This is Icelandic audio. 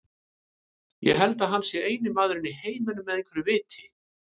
Ég held að hann sé eini maðurinn í heiminum með einhverju viti.